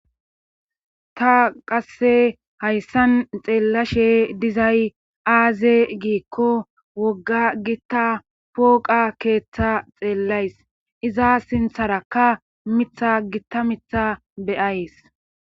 Ta qasse hayssan xeellashe dizay aaze giikko wogga gitta pooqa keeththa xeellays iza sintharakka mitha gitta mitha beyays